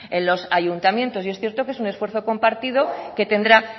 en los ayuntamientos y es cierto que es un esfuerzo compartido que tendrá